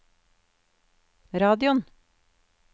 radioen